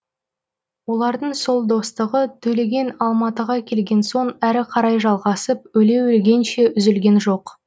олардың сол достығы төлеген алматыға келген соң әрі қарай жалғасып өле өлгенше үзілген жоқ